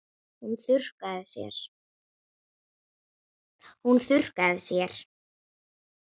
Hún þurrkar sér.